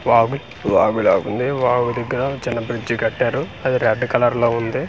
వాగు వాగులాగుంది వాగు దగ్గర చిన్న బ్రిడ్జ్ కట్టారు అది రెడ్ కలర్ లో ఉంది.